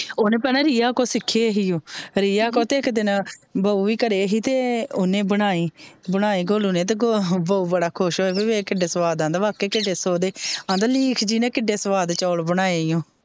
ਓਹਨੇ ਭੈਣੇ ਰੀਆ ਕੋਲੋਂ ਸਿੱਖੇ ਇਹੀਓ ਰਿਆ ਕੋਲੋਂ ਤੇ ਇੱਕ ਦਿਨ ਭਾਉ ਵੀ ਘਰੇ ਸੀ ਤੇ ਓਹਨੇ ਬਣਾਏ ਬਣਾਏ ਗੋਲੂ ਨੇ ਤੇ ਭਾਉ ਬੜਾ ਖੁਸ਼ ਹੋਇਆ ਕਿੱਡਾ ਸਵਾਦ ਆਉਂਦਾ ਬਕਿਆ ਸਵਾਦ ਕਹਿੰਦਾ ਲੀਖ ਜੀ ਨੇ ਕਿੱਡੇ ਸਵਾਦ ਚੋਲ ਬਣਾਇਓ।